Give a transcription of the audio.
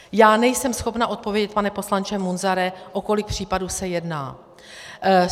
Já nejsem schopna odpovědět, pane poslanče Munzare, o kolik případů se jedná.